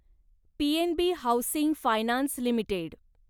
PNB housing finance limited